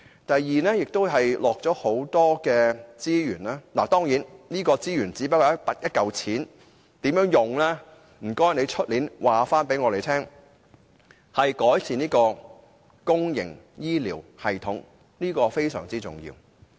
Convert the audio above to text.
第二，預算案投入大量資源——當然，所謂"資源"只是金錢，至於如何運用，請司長明年告訴我們——改善公營醫療，這是非常重要的。